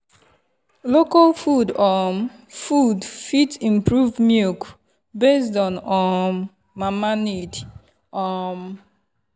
local milk um food fit improve milk based on um mama body need. um